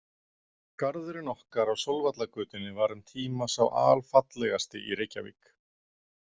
Garðurinn okkar á Sólvallagötunni var um tíma sá alfallegasti í Reykjavík.